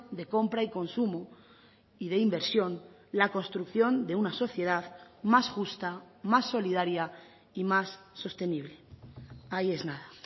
de compra y consumo y de inversión la construcción de una sociedad más justa más solidaria y más sostenible ahí es nada